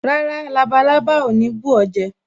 Rárá, labalábá ò ní bù ó jẹ